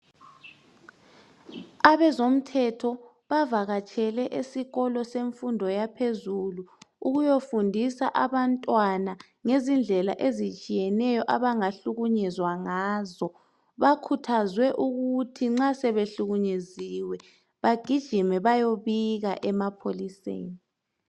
Abezomthetho bavakatshele esikolo semfundo yaphezulu ukuyofundisa abantwana ngezindlela ezitshiyeneyo abangahlukunyezwa ngazo. Bakhuthazwe ukuthi nxa sebehlukunyeziwe, bagijime bayebika emapholiseni.